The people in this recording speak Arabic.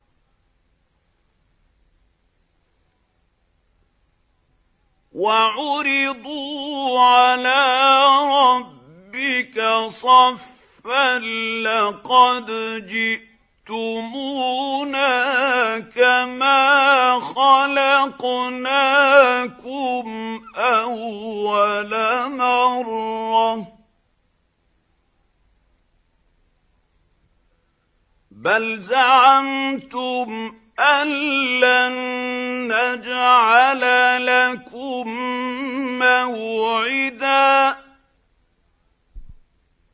وَعُرِضُوا عَلَىٰ رَبِّكَ صَفًّا لَّقَدْ جِئْتُمُونَا كَمَا خَلَقْنَاكُمْ أَوَّلَ مَرَّةٍ ۚ بَلْ زَعَمْتُمْ أَلَّن نَّجْعَلَ لَكُم مَّوْعِدًا